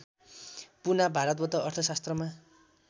पुना भारतबाट अर्थशास्त्रमा